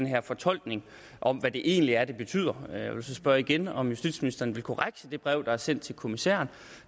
her fortolkning om hvad det egentlig er det betyder og jeg vil så spørge igen om justitsministeren vil korrigere det brev der er sendt til kommissæren